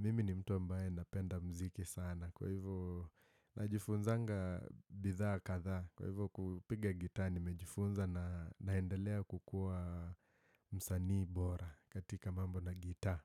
Mimi ni mtu ambaye napenda mziki sana. Kwa hivyo najifunzanga bidhaa kadhaa. Kwa hivyo kupiga gitaa nimejifunza naendelea kukuwa msanii bora katika mambo na gitaa.